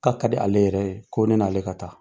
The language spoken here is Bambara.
K'a ka di ale yɛrɛ ye, ko ne n'ale ka taa.